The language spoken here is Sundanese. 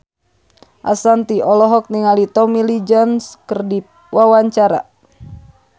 Ashanti olohok ningali Tommy Lee Jones keur diwawancara